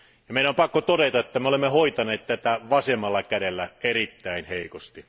Meidän on pakko todeta, että olemme hoitaneet tätä vasemmalla kädellä erittäin heikosti.